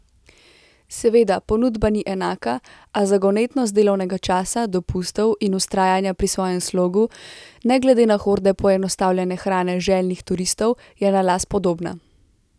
Seveda, ponudba ni enaka, a zagonetnost delovnega časa, dopustov in vztrajanja pri svojem slogu, ne glede na horde poenostavljene hrane željnih turistov, je na las podobna.